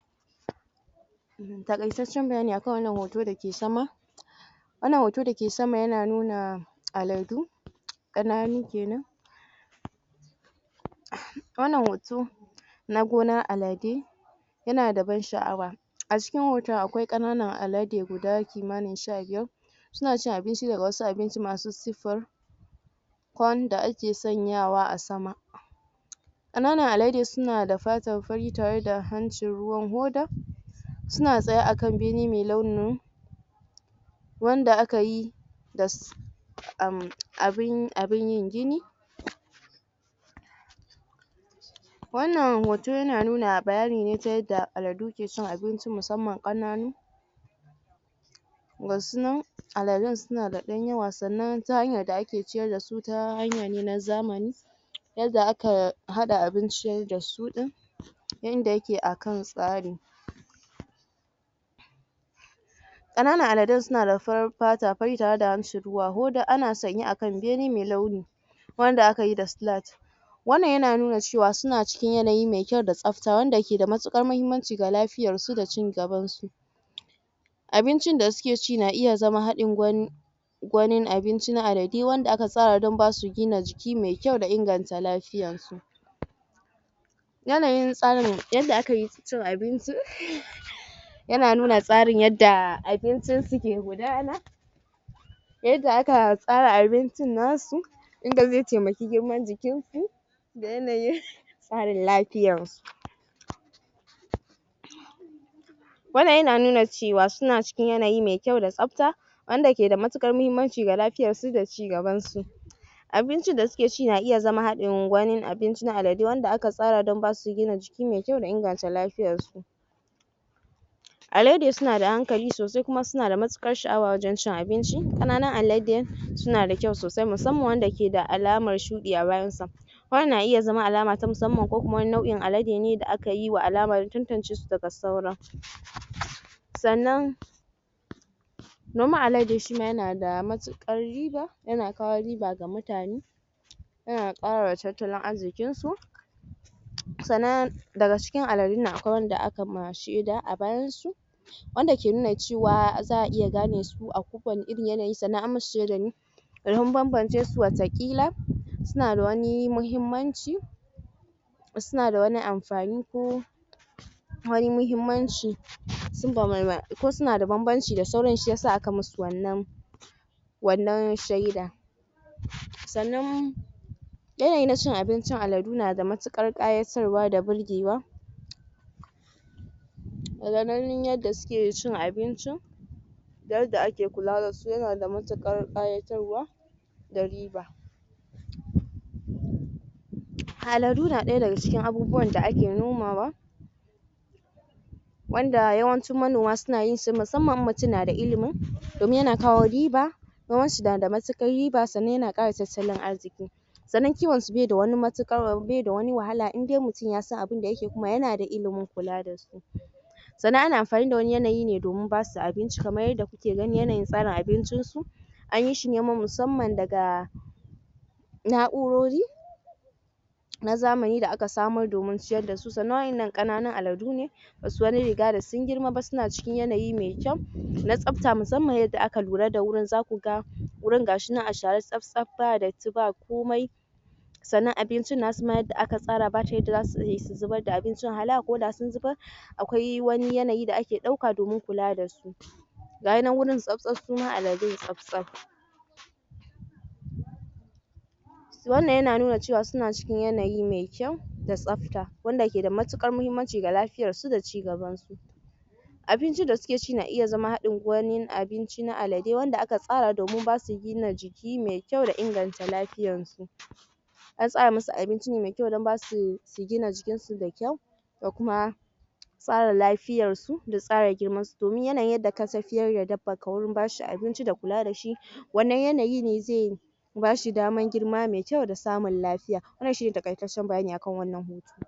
taƙaitaccen bayani akan wannan hoto da ke sama wannan hoto da ke sama yana nuna aladu ƙananu kenan wannan hoto na gonan aladu yana da ban sha'awa a cikin hoton akwai ƙananan alade guda kimanin sha biyar suna cin abinci daga wasu abinci masu siffar wanda ake sanyawa a sama ƙananan alade suna da fata fari tare da hancin ruwan hoda suna tsaye akan bene me launi ne wanda aka yi uhmm abun yin gini wannan hota yana nuna bayani ne ta yanda aladu ke cin abinci musamman ƙananu gasu nan aladun suna da ɗan yawa sannan ta hanyar da ake ciyar da su ta hanya ne na zamani yanda aka haɗa abinci da su din yanda yake akan tsari ƙananan aladun suna da farin fata tare harshe ruwan hoda ana sanye akan bene mai launi wanda akayi da silat wannan ya nuna suna cikin yanayi me kyau da tsa tsabta wanda ke da matuƙar mahimmanci ga lafiyan su da cigaban su abincin da suke ci na iya zama haɗin gwani wanin abinci na aladu wanda aka sa wa wajen basu gina jiki me kyau da inganta lafiya yana yin tsarin yanda ake cin abinci yana nuna tsarin yanda abincin su ke gudana yanda aka tsara abincin na su yanda zai taimaki girman jikin su da yana yin ƙarin lafiyan su wannan yana nuna cewa suna cikin yanayi mai kyau da tsabta wanda yake da matuƙar mahimmanci ga lafiyan su da cigaban su abincin da suke ci na iya zama haɗin wani cikin aladu wanda aka tsara don basu gina jiki mai kyau da inganta ;afiyan su alade suna da hankali sosai kuma suna da matuƙar sha'awa wajen cin abinci ƙananan alade suna da kyau sosai musamman wanda ke da alaman shuɗi a bayan sa wannan na iya zama alama ta musamman ko kuma nau'in alade ne da akayi wa alaman tantance su daga saura sannan noman alade shima yana da matuƙar riba yana kawo riba ga mutane yana ƙarawa tattalin arziƙin su sannan daga cikin aladun nan akwai wanda aka shaida a bayan su wanda ke nun cewa za'a iya gane su da kusan irin yanayi sannan an masu shaida ne domin banbance su wataƙila suna da wani mahimmanci suna da wani amfani kuma mai mahimmanci sun da ko suna banbanci da sauran shiyasa aka masu wannan wannan shaida sannan yanayi na cin abincin aladu yana da matuƙar ƙayatarwa da burgewa daga ganin yanda suke cin abincin yanda ake kula da su yana da matuƙar ƙayatarwa da riba aladu na ɗaya daga cikin abubuwan da ake nomawa wanda yawancin manoma su na yin shi ne musamman idan mutum yana da ilimi domin yana kawo riba noman su da matuƙar riba sannan yana ƙara tattalin arziqi sannan kiwan su baida wani matuƙar bai da wani wahala in dai mutum yasan abunda yakeyi kuma yana da ilimin kula da su sannan ana amfani da wani yanayi ne domin basu abinci kaman yanda domin yanayin tsarin abincin su an yi shi ne musamman daga na'urori na zamani da aka samar domin ciyar da su sannan wa'innan ƙananun aladu ne ba su wani riga da sun girma ba suna cikin yanayi me kyau na tsabta musamman yanda aka lura da wurin zaku ga wurin ga shinan a share tsab tsab ba datti bakomai sannan abincin nasu ma da aka tsara babu ta yanda za'ayi su zubar da abinci hala ko da sun zubar akwai wani yanayi da ake domin kula da su gayi nan wurin tsab tsab suma aladun tsab tsab wannan yana nuna cewa suna cikin yanayi me kyau da tsabta wanda ke da matuƙar mahimmanci ga lafiyan su da cigaban su abincin da suke ci yana iya zama haɗin wani abu na aladu wanda aka tsara domin basu gina jiki mai kyau da inganta lafiyan su an tsara masu abinci ne mai kyau don basu su gina jikin su da kyau da kuma tsara lafiyan su da tsara girman su domin yanda ka tafiyar da dabban ka wajen bashi abinci da kula da shi wannnan yanayi ne zai basu daman girma ne da samun lafiya wannan shine taƙaitaccen bayani akan wanann